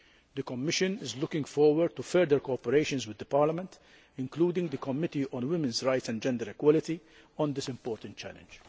The Commission is looking forward to further cooperation with Parliament, including the Committee on Women's Rights and Gender Equality, on this important challenge.